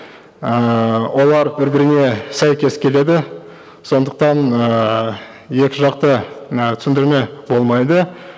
ыыы олар бір біріне сәйкес келеді сондықтан ыыы екі жақты і түсіндірме болмайды